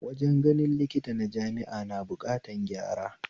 Wajen ganin likita na jami'a na buƙatan gyara